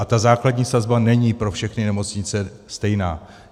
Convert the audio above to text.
A ta základní sazba není pro všechny nemocnice stejná.